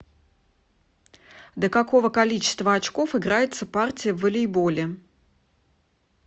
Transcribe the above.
до какого количества очков играется партия в волейболе